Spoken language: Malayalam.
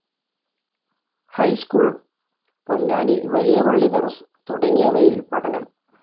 ഹൈസ്‌കൂൾ, പൊന്നാനി വലിയ പള്ളി ദരസ് തുടങ്ങിയവയിൽ പഠനം.